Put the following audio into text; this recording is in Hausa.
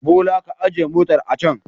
Bolaj ka ajiye motar a can.